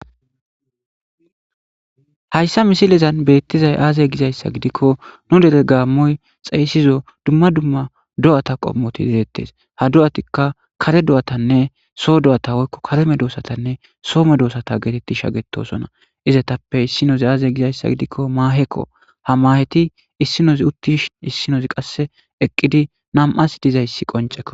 Haysikka misilezan bettishe aze giza asa gidikko nu dere gaamoy tsayissido dumma dumma do'ata qommotti beettes. Ha do'atikka kare do'atanne, so do'ata woyko kare medosatanne so medosata getetti shakkettosoona. Izatappe issinoze aze giza issa gidikko maaheko. Ha maaheti issinoze uttishe, issinoze,qassi eqqidi na'amasin diyage qoncceko.